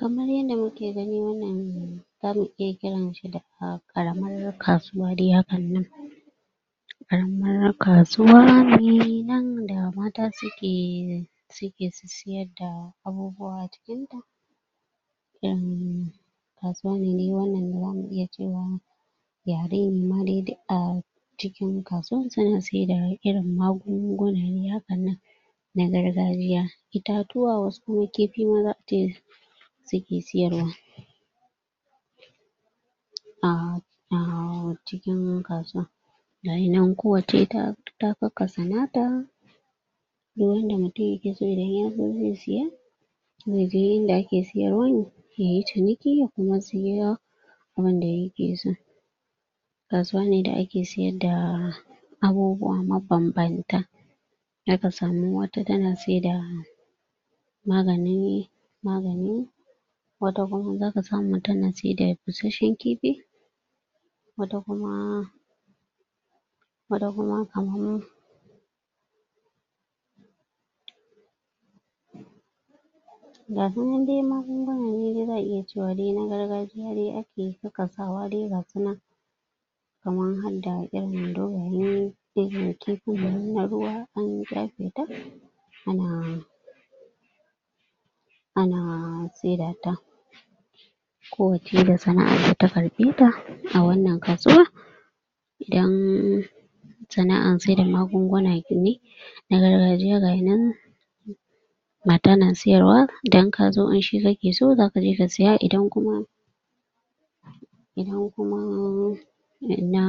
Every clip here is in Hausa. Kamar yadda muke gani wannan zamu iya kiranta da ƙaramar kasuwa dai hakan nan ƙaramar kasuwa ne nan da mata suke suke sissiyar da abubuwa cikinta ƴan kasuwa ne dai wannan da zamu iya cewa yare ne ma dai duk a cikin kasuwan suna saida irin magunguna ne hakan nan na gargajiya itatuwa wasu kuma kifi suke sayarwa um a cikin kasuwa gayinan kowacce ita ta kakkasa nata duk yadda mutum yake so idan yazo zai siya zai je inda ake sayarwan yayi ciniki ya kuma siya abunda yake so kasuwa ne da ake sayar da abubuwa mabambanta zaka samu wata tana saida magani magani wata kuma zaka samu tana saida basashen kifi wata kuma wata kuma kaman gasu nan dai magunguna ne zan iya cewa na gargajiya dai ake kakkasawa dai gasu nan kamar hadda irin dogaye irin kifinnan na ruwa an ƙyafe ta ana ana saida ta ko wacce da sana'an da ya karɓe ta a wannan kasuwa idan sana'an saida magunguna ne na gargajiya gayinan mata na sayarwa idan kazo shi kake so zaka je ka siya idan kuma idan kuma na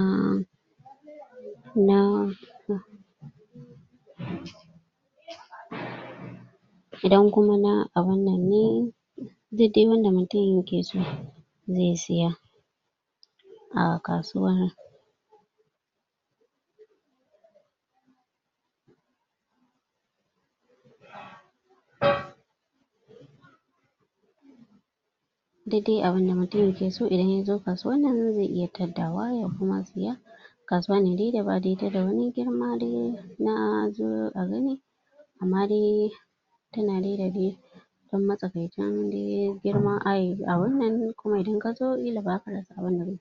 na idan kuma na abunnan ne duk dai wanda mutum yake so zai siya a kasuwan duk dai abunda mutum yake so idan yazo kasuwannan zai iya tadda wa ya kuma siya kasuwa ne dai ta da wani girma dai na a zo a gani amma dai tana dai da dai ɗan matsakaicin dai girma a wannan kuma idan kazo ƙila baza ka rasa abinda kake nema ba.